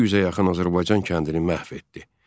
200-ə yaxın Azərbaycan kəndini məhv etdi.